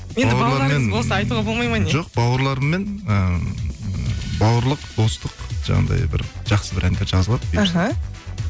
болса айтуға болмайды ма не жоқ бауырларыммен ыыы бауырлық достық жаңағындай бір жақсы бір әндер жазылады бұйырса іхі